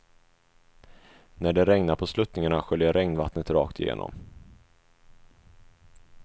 När det regnar på sluttningarna sköljer regnvattnet rakt igenom.